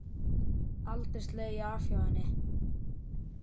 Aldrei slegið af hjá henni.